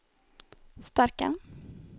starka